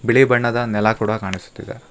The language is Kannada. ಬಿಳಿ ಬಣ್ಣದ ನೆಲ ಕೂಡ ಕಾಣಿಸ್ತಿದೆ.